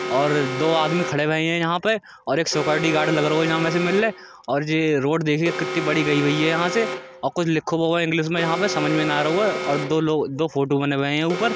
और दो आदमी खड़े हुए हैं यहाँ पे और एक सिक्युरिटी गार्ड लगारोये जामे से मल्ले और जे रोड देखिए कितनी बड़ी गई भई हैझाते और कुछ लिखो भयो है इंग्लिश में यहाँ पे समझ मे नहीं आरो ऐ और दो लोग दो फ़ोटो बने भये हैं ऊपर।